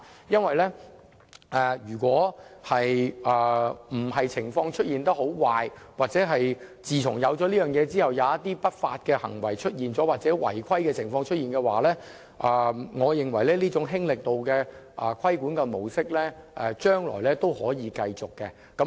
因為如非出現很壞的情況，或自安排推行後出現一些不法行為或違規情況，我認為這種"輕力度"的規管模式將來是可以繼續的。